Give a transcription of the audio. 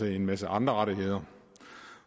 hel masse andre rettigheder